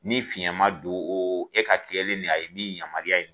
Ni fiɲɛ ma don o o e ka kɛlen nin a ye nin yamaruya ye